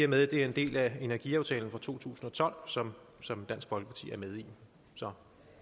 med at det er en del af energiaftalen fra to tusind og tolv som som dansk folkeparti er med i